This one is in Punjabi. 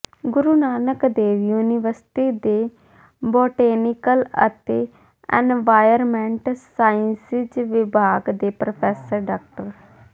ਗੁਰੂ ਨਾਨਕ ਦੇਵ ਯੂਨੀਵਰਸਿਟੀ ਦੇ ਬੋਟੈਨੀਕਲ ਅਤੇ ਐਨਵਾਇਰਨਮੈਂਟ ਸਾਇੰਸਜ਼ ਵਿਭਾਗ ਦੇ ਪ੍ਰੋਫੈਸਰ ਡਾ